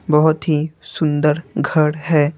बहुत ही सुंदर घर है।